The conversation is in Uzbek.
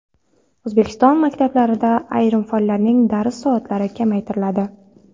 O‘zbekiston maktablarida ayrim fanlarning dars soatlari kamaytiriladi.